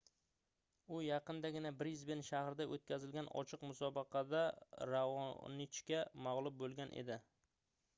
u yaqindagina brisben shahrida oʻtkazilgan ochiq musobaqada raonichga magʻlub boʻlgan edi